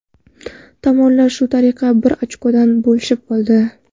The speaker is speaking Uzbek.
Tomonlar shu tariqa bir ochkodan bo‘lishib oldi.